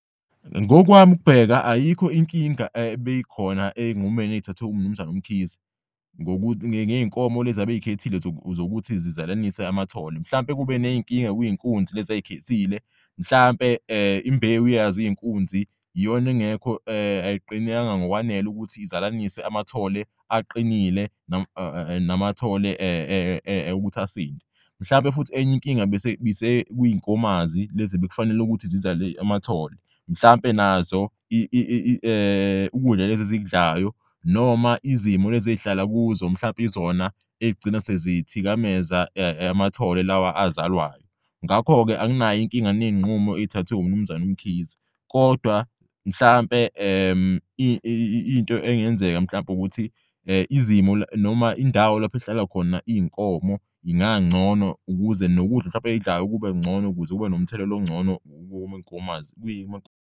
Ngokwami ukubheka ayikho inkinga ebeyikhona ey'nqumeni eyithathwe uMnumzan'Mkhize ngey'nkomo lezi abeyikhethile zokuthi zizalanise amathole mhlawumpe kube ney'nkinga kwey'nkunzi lezi azikhethile mhlampe imbewu yaz'iy'nkunzi iyona engekho ayiqinanga ngokwanele ukuthi izalanise amathole aqinile namathole ukuthi asinde. Mhlampe futhi enye inkinga bisekuy'nkomazi lezi ebekufanele ukuthi zizale amathole mhlampe nazo ukudla leze zikudlayo noma izimo lezi ey'hlala kuzo mhlampe izona ey'gcina sezithikameza amathole lawa azalwayo. Ngakho-ke anginay'inkinga ney'nqumo ezithathwe uMnumzane uMkhize kodwa mhlampe into engenzeka mhlamp'ukuthi izimo noma indawo lapho ehlala khona iy'nkomo ingangcono ukuze nokudla mhlampe eyidlayo kube ngcono ukuze kube nomthelela ongcono womankomazi .